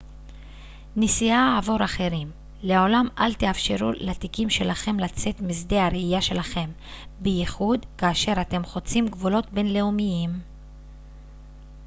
נשיאה עבור אחרים לעולם אל תאפשרו לתיקים שלכם לצאת משדה הראייה שלכם בייחוד כאשר אתם חוצים גבולות בינלאומיים